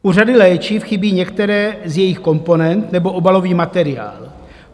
U řady léčiv chybí některé z jejich komponent nebo obalový materiál.